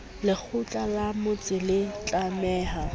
lekgotla la motse le tlameha